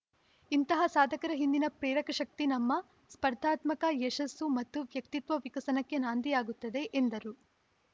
ಇಂತಹ ಸಾಧಕರ ಹಿಂದಿನ ಪ್ರೇರಕಶಕ್ತಿ ನಮ್ಮ ಸ್ಪರ್ಧಾತ್ಮಕ ಯಶಸ್ಸು ಮತ್ತು ವ್ಯಕ್ತಿತ್ವ ವಿಕಸನಕ್ಕೆ ನಾಂದಿಯಾಗುತ್ತದೆ ಎಂದರು